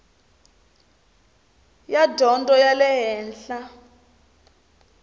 ya dyondzo ya le henhla